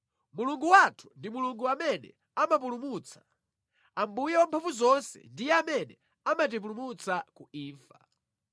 Mulungu wathu ndi Mulungu amene amapulumutsa; Ambuye Wamphamvuzonse ndiye amene amatipulumutsa ku imfa.